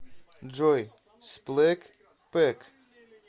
джой сплэк пэк